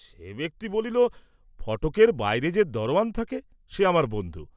সে ব্যক্তি বলিল, ফটকের বাইরে যে দরোয়ান থাকে, সে আমার বন্ধু।